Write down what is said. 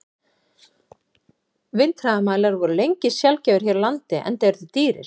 Vindhraðamælar voru lengi sjaldgæfir hér á landi, enda eru þeir dýrir.